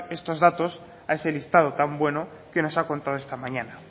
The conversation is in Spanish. esos datos a ese listado tan bueno que nos ha contado esta mañana